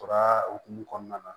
Tora hukumu kɔnɔna na